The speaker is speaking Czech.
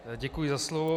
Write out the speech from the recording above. Děkuji za slovo.